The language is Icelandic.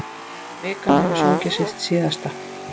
Vikan hefur sungið sitt síðasta.